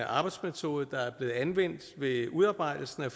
arbejdsmetode der er blevet anvendt ved udarbejdelsen af